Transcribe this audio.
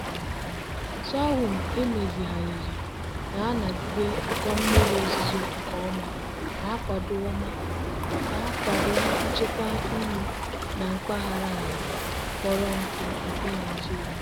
sorghum emezigharịrị na-anagide ụkọ mmiri ozuzo nke ọma na-akwado ọma na-akwado nchekwa nri na mpaghara ala kpọrọ nkụ nke nigeria.